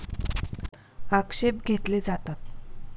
आक्षेप घेतले जातात.